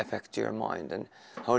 óþekkti hermaðurinn hefur